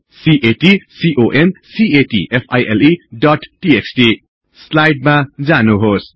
CAT concat file dot TXT स्लाईडमा जानुहोस्